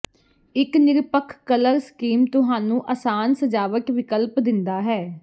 ਇੱਕ ਨਿਰਪੱਖ colour scheme ਤੁਹਾਨੂੰ ਆਸਾਨ ਸਜਾਵਟ ਵਿਕਲਪ ਦਿੰਦਾ ਹੈ